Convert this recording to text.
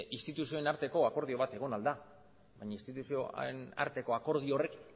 instituzioen arteko akordio bat egon ahal da baina instituzioen arteko akordio horrek